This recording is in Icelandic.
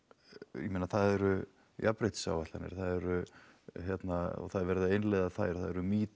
ég meina það eru jafnréttisáætlanir það eru hérna og það er verið að innleiða þær það eru metoo